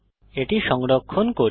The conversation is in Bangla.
এটি সংরক্ষণ করি